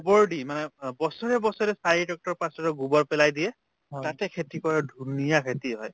গোবৰ দি মানে অ বছৰে বছৰে গোবৰ পেলাই দিয়ে তাতে খেতি কৰা ধুনীয়া খেতি হয়